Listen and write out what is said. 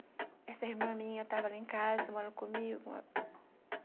Aí, essa irmã minha tava lá em casa, morando comigo.